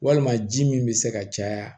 Walima ji min bɛ se ka caya